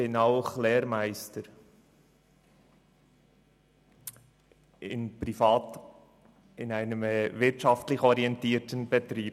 Zudem bin ich Lehrmeister in einem gewinnorientierten Betrieb.